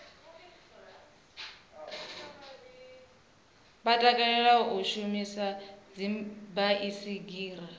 vha takalela u shumisa dzibaisigila